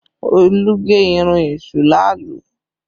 Olú gé irun èṣù làálú